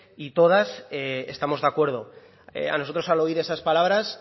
y todas estamos de acuerdo a nosotros al oír esas palabras